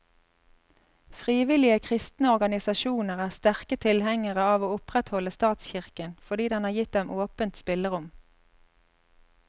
Frivillige kristne organisasjoner er sterke tilhengere av å opprettholde statskirken, fordi den har gitt dem åpent spillerom.